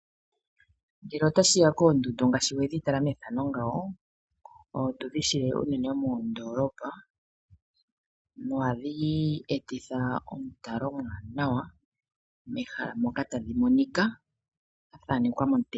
Ngele otashiya koondundu ngaashi wedhi tala mefano ngawo. Otudhi shile unene moondolopa. Nohadhi etitha omutalo omwaanawa mehala moka tadhimonika dha thanekwa momutenya.